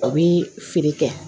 A bi feere kɛ